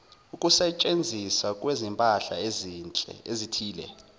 ukusetshenziswa kwezimpahla ezithile